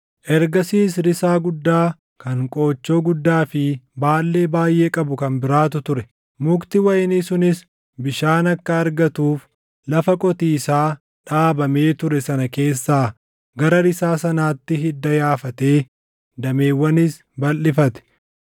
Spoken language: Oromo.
“ ‘Ergasiis risaa guddaa kan qoochoo guddaa fi baallee baayʼee qabu kan biraatu ture. Mukti wayinii sunis bishaan akka argatuuf lafa qotiisaa dhaabamee ture sana keessaa gara risaa sanaatti hidda yaafatee dameewwanis balʼifate.